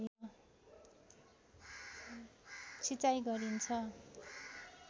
सिँचाइ गरिन्छ